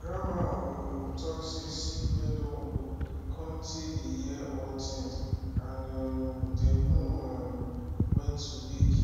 grandma um talk say seed wey dun old cun tay dey hear all thing and um dem know um when to wake